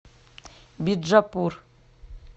биджапур